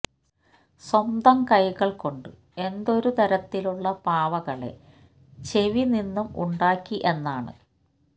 സ്വന്തം കൈകൾ കൊണ്ട് എന്തു ഒരു തരത്തിലുള്ള പാവകളെ ചെവി നിന്നും ഉണ്ടാക്കി എന്നതാണ്